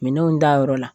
Minɛnw dayɔrɔ la